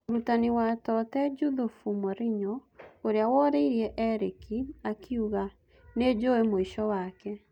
Mũrutani wa Totee Njuthubu Morinyo, ũrĩa woririe Erĩki, akiuga: Nĩjũĩ mũico wake.